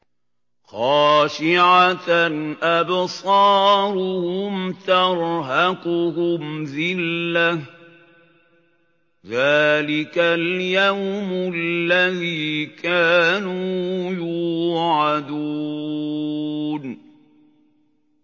خَاشِعَةً أَبْصَارُهُمْ تَرْهَقُهُمْ ذِلَّةٌ ۚ ذَٰلِكَ الْيَوْمُ الَّذِي كَانُوا يُوعَدُونَ